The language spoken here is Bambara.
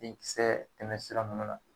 Denkisɛ tɛmɛ sira nunnu na